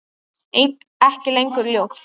Ekki lengur ljót.